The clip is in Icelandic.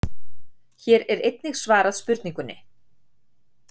Hér er einnig svarað spurningunni: